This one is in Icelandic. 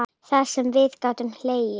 Það sem við gátum hlegið.